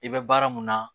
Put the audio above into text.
I bɛ baara mun na